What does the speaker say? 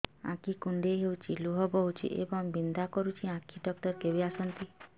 ଆଖି କୁଣ୍ଡେଇ ହେଉଛି ଲୁହ ବହୁଛି ଏବଂ ବିନ୍ଧା କରୁଛି ଆଖି ଡକ୍ଟର କେବେ ଆସନ୍ତି